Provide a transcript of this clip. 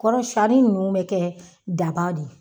Kɔrɔ sɲanii ninnu bɛ kɛ daba de ye.